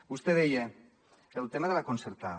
vostè deia el tema de la concertada